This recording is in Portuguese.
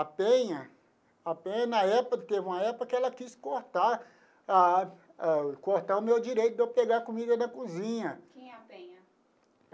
A Penha a Penha, na época, teve uma época que ela quis cortar ah, cortar o meu direito de eu pegar comida na cozinha. Quem é a Penha?